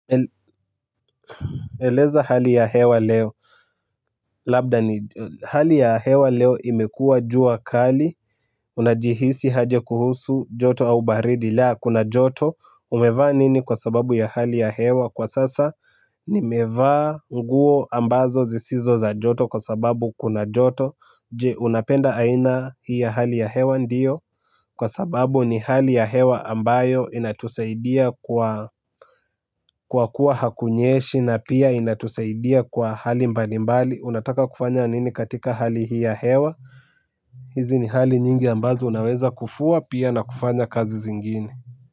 Eleza hali ya hewa leo. Labda ni hali ya hewa leo imekua jua kali. Unajihisi haje kuhusu joto au baridi leo kuna joto. Umevaa nini kwa sababu ya hali ya hewa kwa sasa. Nimevaa nguo ambazo zisizo za joto kwa sababu kuna joto. Je unapenda aina hii ya hali ya hewa ndiyo. Kwa sababu ni hali ya hewa ambayo inatusaidia kwa kwa kuwa hakunyeshi na pia inatusaidia kwa hali mbali mbali, unataka kufanya nini katika hali hii ya hewa, hizi ni hali nyingi ambazo unaweza kufua pia na kufanya kazi zingine.